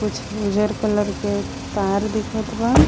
कुछ उजर कलर के तार दिखत बा.